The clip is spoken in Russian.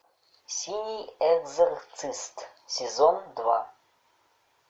синий экзорцист сезон два